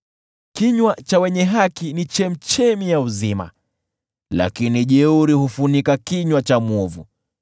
Kinywa cha mwenye haki ni chemchemi ya uzima, lakini jeuri hufunika kinywa cha mwovu.